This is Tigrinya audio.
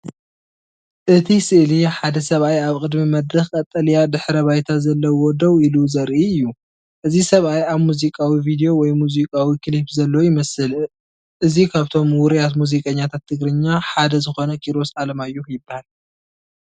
እቲ ስእሊ ሓደ ሰብኣይ ኣብ ቅድሚ መድረኽ ቀጠልያ ድሕረ ባይታ ዘለዎ ደው ኢሉ ዘርኢ እዩ። እዚ ሰብኣይ ኣብ ሙዚቃዊ ቪድዮ ወይ ሙዚቃዊ ክሊፕ ዘሎ ይመስል። እዚ ካብቶም ውርያት ሙዚቀኛታት ትግርኛ ሓደ ዝኮነ ኪሮስ ኣለማዮህ ይባሃል።